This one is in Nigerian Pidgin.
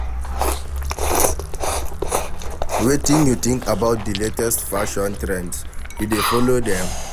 Wetin you think about di latest fashion trends, you dey follow dem?